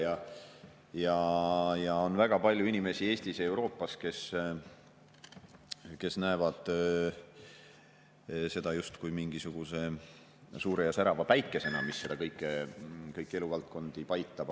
Eestis ja Euroopas on väga palju inimesi, kes näevad seda justkui mingisuguse suure ja särava päikesena, mis kõiki eluvaldkondi paitab.